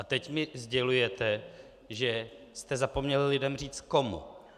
A teď mi sdělujete, že jste zapomněli lidem říct komu.